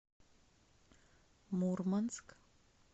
мурманск